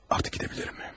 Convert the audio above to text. Artıq gedə bilərəm.